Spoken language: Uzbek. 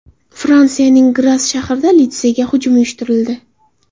Fransiyaning Gras shahrida litseyga hujum uyushtirildi.